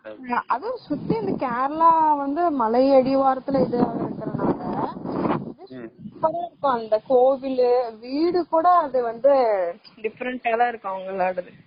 அது சுத்தி கேரளா இந்த மலை அடிவாரத்துல இருக்கறதுனால அந்த கோவிலு, வீடுகூட different ஆ தான் இருக்கும் அவங்களோடது